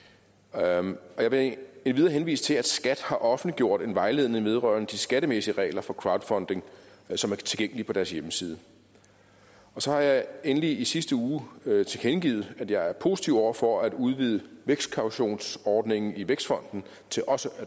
jeg vil endvidere henvise til at skat har offentliggjort en vejledning vedrørende de skattemæssige regler for crowdfunding som er tilgængelig på deres hjemmeside så har jeg endelig i sidste uge tilkendegivet at jeg er positiv over for at udvide vækstkautionsordningen i vækstfonden til også